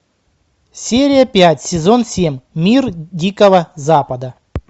серия пять сезон семь мир дикого запада